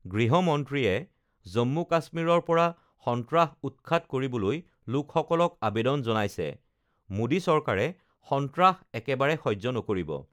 গৃহমন্ত্ৰীয়ে জম্মু কাশ্মীৰৰ পৰা সন্ত্ৰাস উৎখাত কৰিবলৈ লোকসকলক আবেদন জনাইছে, মোদী চৰকাৰে সন্ত্ৰাস একেবাৰে সহ্য নকৰিব